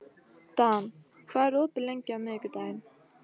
Dan, hvað er opið lengi á miðvikudaginn?